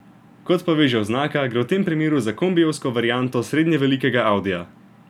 Kot pove že oznaka, gre v tem primeru za kombijevsko varianto srednjevelikega audija.